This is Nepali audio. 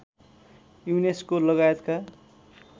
युनेस्को लगायतका